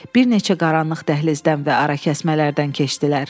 Bir neçə qaranlıq dəhlizdən və arakəsmələrdən keçdilər.